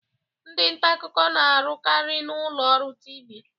Ndị nta akụkọ na-arukari na ụlọ ọrụ Tiivii.